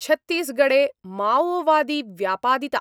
छत्तीसगढ़े माओवादी व्यापादिता